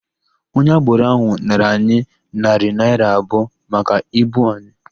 Onye agboro ahụ nara anyị narị naịra abụọ maka ibu anyị.